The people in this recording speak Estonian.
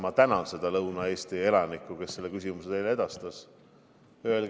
Ma tänan seda Lõuna-Eesti elanikku, kes selle küsimuse teile edastas!